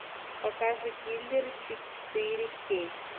покажи киллеры четыре кей